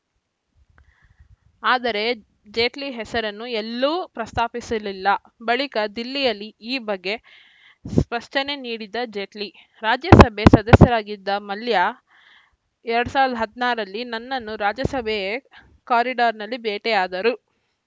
ಆದರೆ ಜೇಟ್ಲಿ ಹೆಸರನ್ನು ಎಲ್ಲೂ ಪ್ರಸ್ತಾಪಿಸಲಿಲ್ಲ ಬಳಿಕ ದಿಲ್ಲಿಯಲ್ಲಿ ಈ ಬಗ್ಗೆ ಸ್ಪಷ್ಟನೆ ನೀಡಿದ ಜೇಟ್ಲಿ ರಾಜ್ಯಸಭೆ ಸದಸ್ಯರಾಗಿದ್ದ ಮಲ್ಯ ಎರಡ್ ಸಾವಿರದ ಹದಿನಾರರಲ್ಲಿ ನನ್ನನ್ನು ರಾಜ್ಯಸಭೆಯ ಕಾರಿಡಾರ್‌ನಲ್ಲಿ ಭೇಟಿಯಾದರು